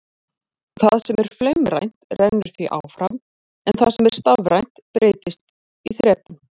Það sem er flaumrænt rennur því áfram en það sem er stafrænt breytist í þrepum.